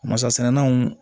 Masa sɛnɛnw